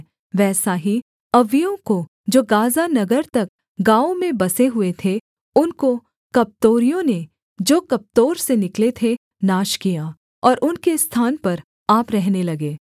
वैसा ही अव्वियों को जो गाज़ा नगर तक गाँवों में बसे हुए थे उनको कप्तोरियों ने जो कप्तोर से निकले थे नाश किया और उनके स्थान पर आप रहने लगे